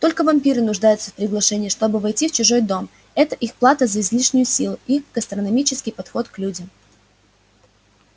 только вампиры нуждаются в приглашении чтобы войти в чужой дом это их плата за излишнюю силу и гастрономический подход к людям